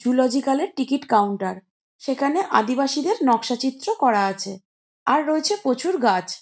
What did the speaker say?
জোরোলোজিক্যালের ticket counter. সেখানে আদিবাসীদের নকশাচিত্র করা আছে। আর রয়েছে প্রচুর গাছ।